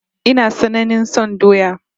Ina tsananain son doya